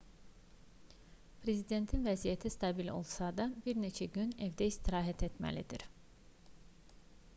prezidentin vəziyyəti stabil olsa da bir neçə gün evdə istirahət etməlidir